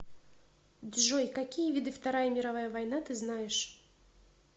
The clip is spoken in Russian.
джой какие виды вторая мировая война ты знаешь